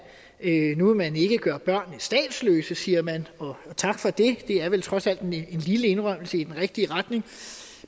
nu vil man ikke gøre børnene statsløse siger man tak for det det er vel trods alt en lille indrømmelse i den rigtige retning